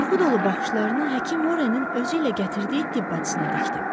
Qorxu dolu baxışlarını həkim Warrenin özü ilə gətirdiyi tibb bacısına dikdi.